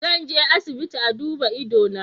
Zan je asibiti a duba ido na.